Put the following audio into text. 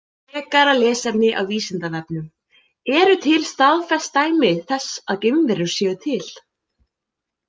Frekara lesefni á Vísindavefnum Eru til staðfest dæmi þess að geimverur séu til?